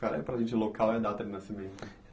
Fala aí para a gente local e data de nascimento.